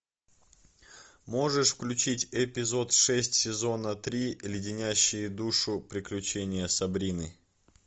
можешь включить эпизод шесть сезона три леденящие душу приключения сабрины